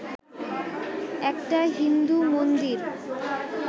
একটা হিন্দু মন্দির